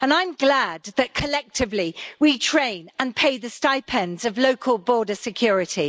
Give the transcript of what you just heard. I'm glad that, collectively, we train and pay the stipends of local border security.